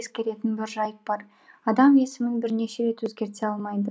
ескеретін бір жайт бар адам есімін бірнеше рет өзгерте алмайды